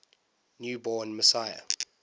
new born messiah